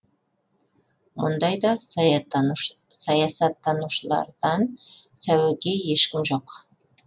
мұндайда саясаттанушылардан сәуегей ешкім жоқ